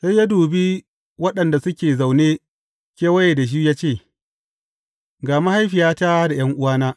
Sai ya dubi waɗanda suke zaune kewaye da shi ya ce, Ga mahaifiyata da ’yan’uwana!